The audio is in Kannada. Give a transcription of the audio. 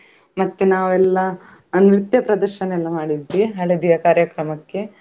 ಮತ್ತೆ ನಾವೆಲ್ಲಾ ನೃತ್ಯ ಪ್ರದರ್ಶನ ಎಲ್ಲ ಮಾಡಿದ್ವಿ ಹಳದಿಯ ಕಾರ್ಯಕ್ರಮಕ್ಕೆ.